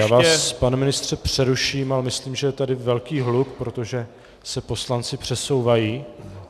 Já vás, pane ministře, přeruším, ale myslím, že je tady velký hluk, protože se poslanci přesouvají.